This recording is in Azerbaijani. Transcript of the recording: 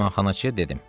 Mehmanxanaçıya dedim: